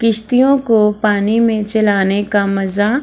किश्तियों को पानी में चलाने का मजा --